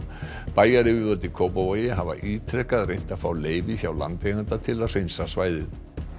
bæjaryfirvöld í Kópavogi hafa ítrekað reynt að fá leyfi hjá landeiganda til að hreinsa svæðið